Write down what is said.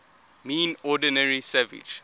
mean ordinary savage